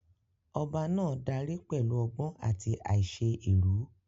Ọba náà dárí pẹ̀lú ọgbọ́n àti àìṣe èrú.